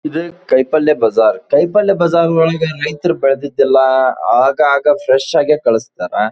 ಇದು ಕೈಪಲ್ಯ ಬಜಾರ್ ಕೈಪಲ್ಯ ಬಜಾರ್ ಒಳಗೆ ರೈತರು ಬೆಳದಿದ್ ಎಲ್ಲ ಆಗಾಗ ಫ್ರೆಶ್ ಆಗಿ ಕಳಸ್ತಾರೆ.